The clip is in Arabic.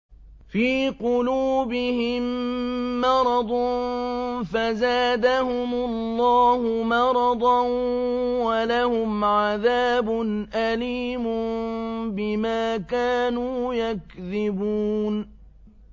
فِي قُلُوبِهِم مَّرَضٌ فَزَادَهُمُ اللَّهُ مَرَضًا ۖ وَلَهُمْ عَذَابٌ أَلِيمٌ بِمَا كَانُوا يَكْذِبُونَ